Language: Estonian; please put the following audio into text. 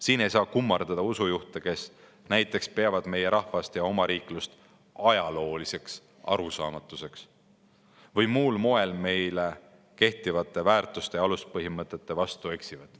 Siin ei saa kummardada usujuhte, kes näiteks peavad meie rahvast ja omariiklust ajalooliseks arusaamatuseks või muul moel meil kehtivate väärtuste ja aluspõhimõtete vastu eksivad.